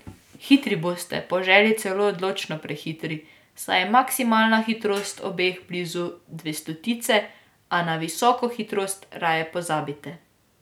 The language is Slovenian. Hitri boste, po želji celo odločno prehitri, saj je maksimalna hitrost obeh blizu dvestotice, a na visoko hitrost raje pozabite.